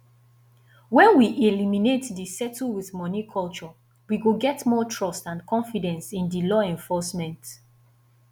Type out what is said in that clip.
when we eliminate di settle with money culture we go get more trust and confidence in di law enforcement